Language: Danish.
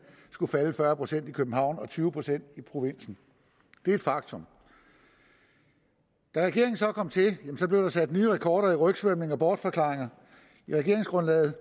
skulle falde med fyrre procent i københavn og med tyve procent i provinsen det er et faktum da regeringen så kom til blev der sat nye rekorder i rygsvømning og bortforklaringer i regeringsgrundlaget